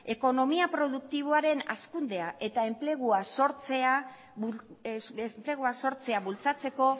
ekonomia produktiboaren hazkundea eta enplegua sortzea bultzatzeko